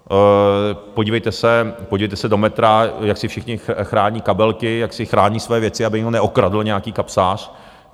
Podívejte se do metra, jak si všichni chrání kabelky, jak si chrání své věci, aby je neokradl nějaký kapsář.